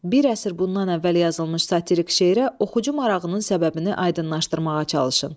Bir əsr bundan əvvəl yazılmış satirik şeirə oxucu marağının səbəbini aydınlaşdırmağa çalışın.